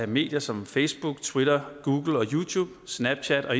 medier som facebook twitter google youtube snapchat og